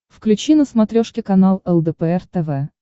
включи на смотрешке канал лдпр тв